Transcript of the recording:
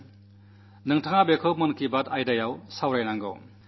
അങ്ങയുടെ മൻ കീബാത്തിൽ അതെക്കുറിച്ചു പറയണം